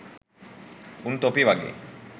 උන් තොපි වගේ